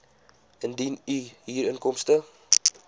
indien u huurinkomste